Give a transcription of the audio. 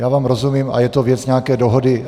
Já vám rozumím a je to věc nějaké dohody.